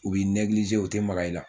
U bɛ u tɛ maga i la